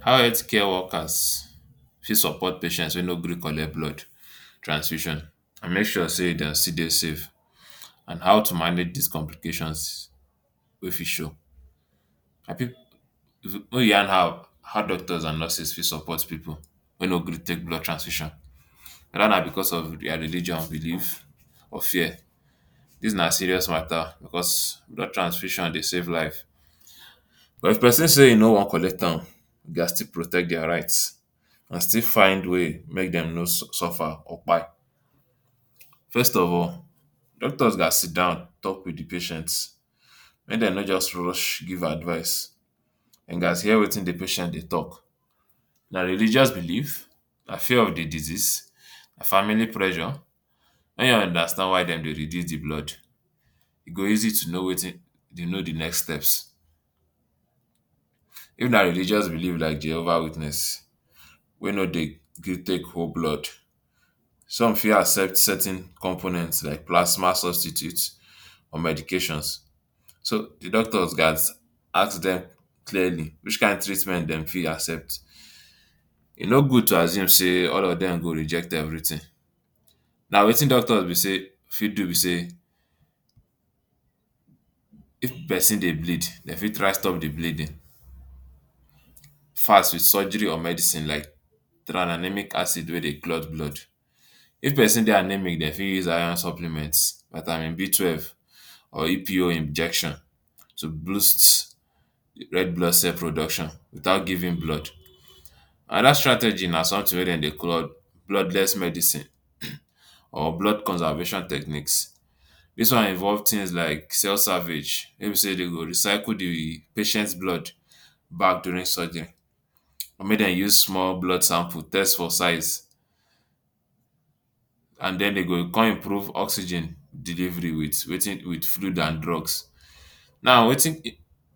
How healthcare workers fit support patients wey no gree collect blood transfusion and make sure sey dem still dey safe and how to manage dis complications wey fit show. yan how how doctors and nurses fit support pipu wey no gree take blood transfusion, weda na because of dia religion, believe or fear. Dis na serious mata because blood transfusion dey save life, but if persin say e no wan am you gats still protect dia right. Still find way make dem no suffer or kpai. First of all, doctors gas sidon talk wit di patient, make dem no just rush give advise, dey gats hear watin di patient dey talk. Na religious believe? Na fear of di disease? Na family pressure? Make you understand why dem dey refuse di blood e go easy to know watin to know di next steps. If na religious believes like Jehovah Witness wey no dey gree take hold blood, some fit accept certain component like Plasma Substitute or medications. So di doctor gas ask dem clearly which kain treatment dem fit accept, e no good to assume say all of dem go reject everything, na watin doctor be say fit do be say if pesin dey bleed, dem fit try stop di bleeding fast wit surgery or medicine like Tranexamic Acid wey dey clot blood. If di pesin dey anemic dem fit use Iron supplements, Vitamin B-twelve or EPO injections to boost red blood cell production without giving blood. Anoda strategy na sometin wey dem dey call bloodless medicine, or blood conservation technique, dis one involve tins like cell savage wey be say de go recycle di patient’s blood back during surgery or make dem use small blood sample test for size and den dem go come improve oxygen delivery wit watin, wit food and drugs. Now watin